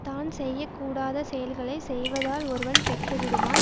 தான் செய்ய கூடாத செயல்களை செய்வதால் ஒருவன் கெட்டுவிடுவான்